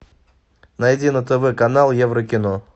найди на тв канал еврокино